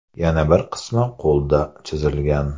Yana bir qismi qo‘lda chizilgan.